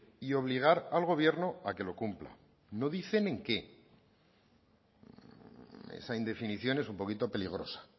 y obligar al gobierno a que lo cumpla no dicen en qué esa indefinición es un poquito peligrosa